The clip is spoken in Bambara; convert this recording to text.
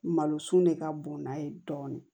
Malosun de ka bon n'a ye dɔɔnin